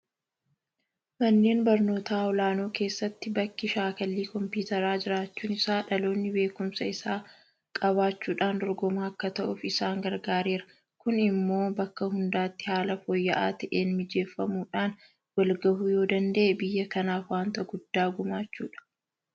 Manneen barnootaa olaanoo keessatti bakki shaakallii kompiitaraa jiraachuun isaa dhaloonni beekumsa isaa qabaachuudhaan dorgomaa akka ta'uuf isaan gargaareera. Kun immoo bakka hundatti haala fooyya'aa ta'een mijeeffamuudhaan walgahuu yoodanda'e biyya kanaaf waanta guddaa gumaachuudha.